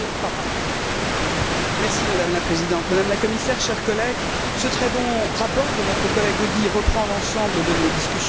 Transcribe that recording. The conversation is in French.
Madame la Présidente, Madame la Commissaire, chers collègues, ce très bon rapport de notre collègue Audy reprend l'ensemble de nos discussions avec les acteurs du secteur.